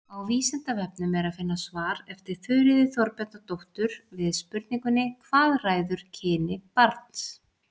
Á Vísindavefnum er að finna svar eftir Þuríði Þorbjarnardóttur við spurningunni Hvað ræður kyni barns?